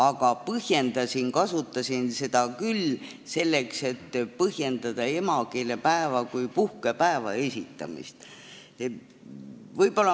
Aga ma kasutasin seda väidet küll selleks, et põhjendada emakeelepäeva kui puhkepäeva esitamist.